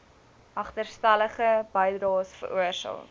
agterstallige bydraes veroorsaak